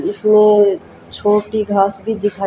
इसमें छोटी घास भी दिखा--